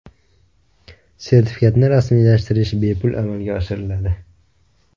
Sertifikatni rasmiylashtirish bepul amalga oshiriladi.